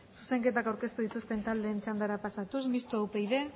zuzenketak aurkeztu dituzten taldeen txandara pasatuz mistoa upyd